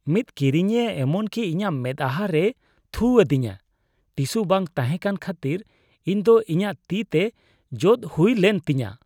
ᱢᱤᱫ ᱠᱤᱨᱤᱧᱤᱭᱟᱹ ᱮᱢᱚᱱ ᱠᱤ ᱤᱧᱟᱹᱜ ᱢᱮᱫᱽᱦᱟ ᱨᱮᱭ ᱛᱷᱩ ᱟᱫᱤᱧᱟ ᱾ ᱴᱤᱥᱩ ᱵᱟᱝ ᱛᱟᱦᱮᱸ ᱠᱟᱱ ᱠᱷᱟᱹᱛᱤᱨ ᱤᱧ ᱫᱚ ᱤᱧᱟᱜ ᱛᱤ ᱛᱮ ᱡᱚᱫ ᱦᱩᱭᱞᱮᱱ ᱛᱤᱧᱟᱹ ᱾